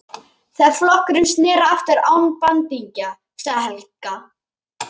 Þegar flokkurinn sneri aftur án bandingja, sagði Helga.